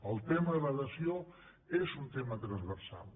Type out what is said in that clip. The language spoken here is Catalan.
el tema de la dació és un tema transversal